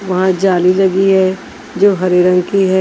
वहां जाली लगी है जो हरे रंग की है।